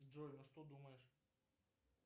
джой ну что думаешь